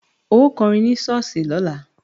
Ó kọrin ní ṣọ́ọ̀ṣì lọ́la!